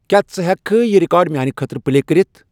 کیا ژٕ ہیکِہ کھہ یِہ ریکارڈ میانِہ خٲطرٕ پلے کٔرِتھ ؟